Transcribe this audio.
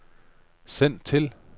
send til